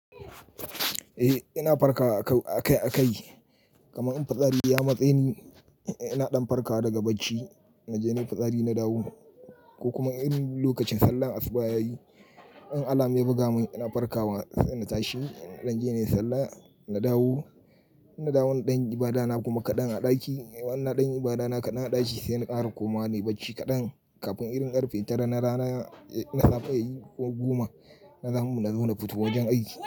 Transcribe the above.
Eh ina farka akai-akai, kamar in fitsari ya matse ni ina ɗan farkawa daga bacci, na je nayi fitsari na dawo ko kuma irin lokacin sallar asuba yayi in Alam ya buga mun ina farkawa sai na tashi na je na yi sallah na dawo. Na dawo na danyi ibada na kuma kaɗan a ɗaki. Na danyi ibada na kaɗan a ɗaki sai na ƙara koma ne bacci kaɗan. Kafin irin ƙarfe tara na rana na safe, ko eh goma na zamu na zo na fito wajen aiki.